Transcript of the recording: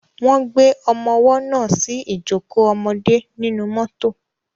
Wọ́n gbé ọmọwọ́ náà sí ìjókò ọmọdé nínú mọ́tọ̀.